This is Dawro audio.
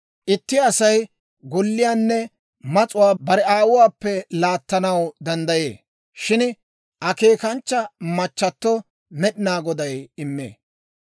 Itti Asay golliyaanne mas'uwaa bare aawuwaappe laattanaw danddayee; shin akeekanchcha machchato Med'inaa Goday immee.